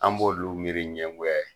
An b'olu miiri ɲɛngoya ye.